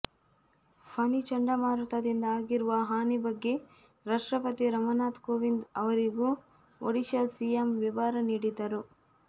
ಫನಿ ಚಂಡಮಾರುತದಿಂದ ಆಗಿರುವ ಹಾನಿ ಬಗ್ಗೆ ರಾಷ್ಟ್ರಪತಿ ರಾಮನಾಥ್ ಕೋವಿಂದ್ ಅವರಿಗೂ ಒಡಿಶಾ ಸಿಎಂ ವಿವರ ನೀಡಿದರು